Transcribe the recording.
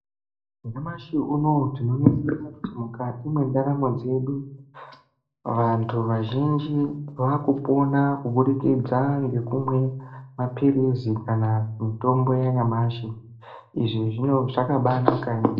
Nyamash uno tinoningira kuti mukati mwendaramo dzedu vantu azhinji ava kupona kubudikidza nokumwa mapiritsi kana mitombo yanyamashi izvi zvakabaa naka yamho...